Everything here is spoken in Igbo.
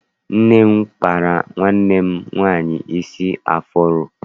Nne m kpara nwanne m nwaanyị isi afuro.